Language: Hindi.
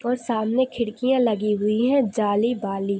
और सामने खिड़कियाँ लगी हुई है जाली वाली--